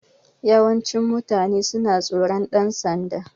Yawancin mutane suna tsoron ɗan sanda